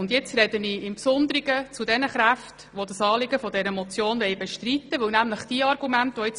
Nun spreche ich im Besonderen zu denjenigen Kräften, die das Anliegen dieser Motion bestreiten, und vor allem zu ihren Argumenten.